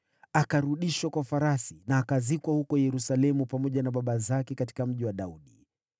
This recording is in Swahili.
Akarudishwa kwa farasi na akazikwa huko Yerusalemu pamoja na baba zake katika Mji wa Daudi.